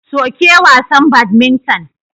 Soke wasan badminton.